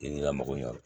I ka mago ɲan